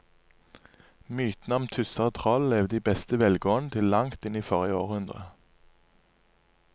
Mytene om tusser og troll levde i beste velgående til langt inn i forrige århundre.